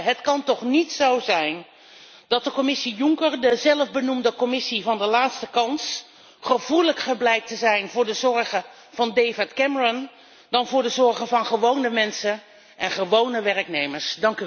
Het kan toch niet zo zijn dat de Commissie Juncker, de zelfbenoemde Commissie van de laatste kans, gevoeliger blijkt te zijn voor de zorgen van David Cameron dan voor de zorgen van gewone mensen en gewone werknemers.